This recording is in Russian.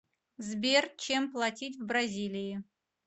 сбер чем платить в бразилии